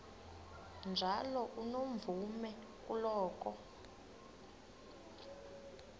njalo unomvume kuloko